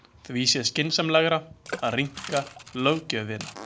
Því sé skynsamlegra að rýmka löggjöfina.